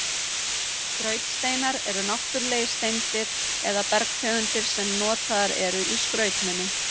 Skrautsteinar eru náttúrulegar steindir eða bergtegundir sem notaðar eru í skrautmuni.